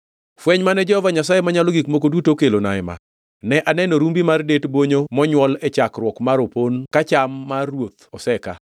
Fweny mane Jehova Nyasaye Manyalo Gik Moko Duto okelona ema: Ne aneno rumbi mar det bonyo monywol e chakruok mar opon ka cham mar ruoth osekaa.